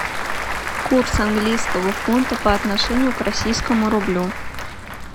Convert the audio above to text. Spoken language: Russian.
курс английского фунта по отношению к российскому рублю